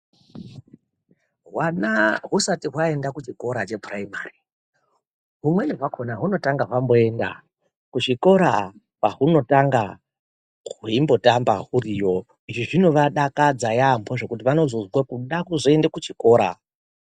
Hwana husati waenda kuchikora chepuraimari humwene hwakona hunotanga wamboenda kuchikora kwahunotanga hweitamba huriyo izvi zvinovadakadza yaamho zvekuti vanozonzwa kuda kuenda kuchikoro .